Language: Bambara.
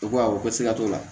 U ko awɔ ko sika t'o la